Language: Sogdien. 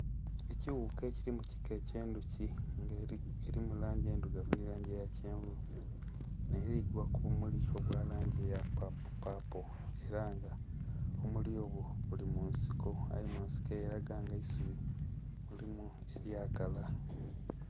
Ekighuka ekili mu kika ekye ndhuki nga erimu langi endhirugavu nhe langi eya kyenvu, nheligwa ku bimuli obwa langi eya papi papo era nga obumuli obwo buli munsiko aye nga ensiko elaga nga eisubi mulimu elyakala.